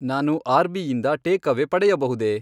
ನಾನು ಆರ್ಬಿಯಿಂದ ಟೇಕ್ಅವೇ ಪಡೆಯಬಹುದೇ?